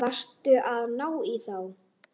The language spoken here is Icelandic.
Varstu að ná í þá?